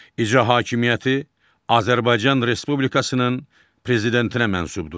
İcra hakimiyyəti Azərbaycan Respublikasının prezidentinə mənsubdur.